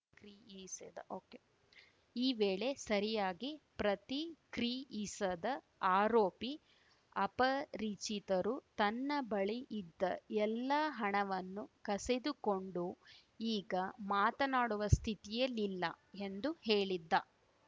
ಕ್ರಿಯಿಸದ okay ಈ ವೇಳೆ ಸರಿಯಾಗಿ ಪ್ರತಿಕ್ರಿಯಿಸದ ಆರೋಪಿ ಅಪರಿಚಿತರು ತನ್ನ ಬಳಿ ಇದ್ದ ಎಲ್ಲಾ ಹಣವನ್ನು ಕಸೆದುಕೊಂಡು ಈಗ ಮಾತನಾಡುವ ಸ್ಥಿತಿಯಲಿಲ್ಲ ಎಂದು ಹೇಳಿದ್ದ